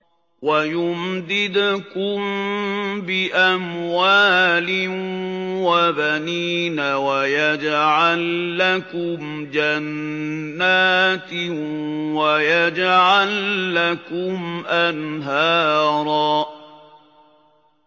وَيُمْدِدْكُم بِأَمْوَالٍ وَبَنِينَ وَيَجْعَل لَّكُمْ جَنَّاتٍ وَيَجْعَل لَّكُمْ أَنْهَارًا